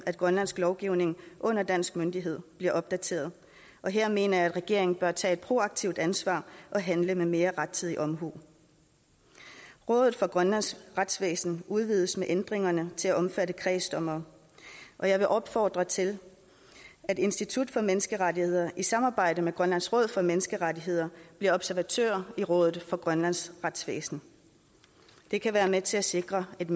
grønlandsk lovgivning under dansk myndighed bliver opdateret og her mener jeg at regeringen bør tage et proaktivt ansvar og handle med mere rettidig omhu rådet for grønlands retsvæsen udvides med ændringerne til at omfatte kredsdommere og jeg vil opfordre til at institut for menneskerettigheder i samarbejde med grønlands råd for menneskerettigheder bliver observatør i rådet for grønlands retsvæsen det kan være med til at sikre et